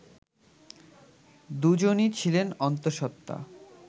দুজনই ছিলেন অন্তঃসত্ত্বা